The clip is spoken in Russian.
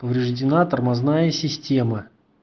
повреждена тормозная система